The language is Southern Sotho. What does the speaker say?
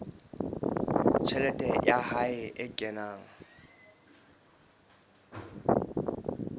tjhelete ya hae e kenang